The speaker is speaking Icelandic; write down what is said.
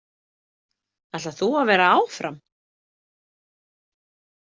Ætlar þú að vera áfram?